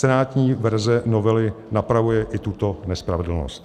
Senátní verze novely napravuje i tuto nespravedlnost.